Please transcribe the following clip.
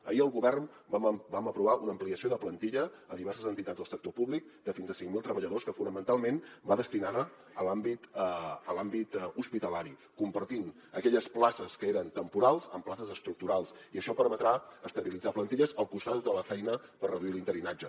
ahir el govern vam aprovar una ampliació de plantilla a diverses entitats del sector públic de fins a cinc mil treballadors que fonamentalment va destinada a l’àmbit hospitalari convertint aquelles places que eren temporals en places estructurals i això permetrà estabilitzar plantilles al costat de tota la feina per reduir l’interinatge